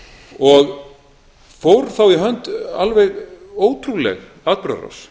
og fór þá í hönd alveg ótrúleg atburðarás